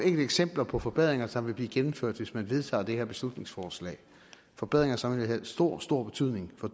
eksempler på forbedringer som vil blive gennemført hvis man vedtager det her beslutningsforslag forbedringer som vil have stor stor betydning for